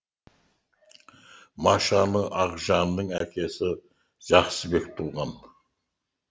машаны ақжанның әкесі жақсыбек туған